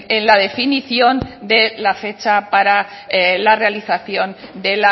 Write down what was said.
en la definición de la fecha para la realización de